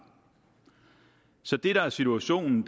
så det der er situationen